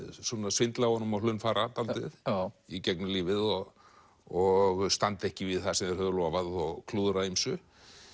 svindla á honum og hlunnfara dálítið í gegnum lífið og og standa ekki við það sem þeir höfðu lofað og klúðra ýmsu